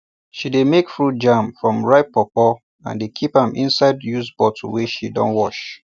she dey make fruit jam from ripe pawpaw and dey keep am inside used bottle wey she don wash